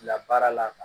La baara la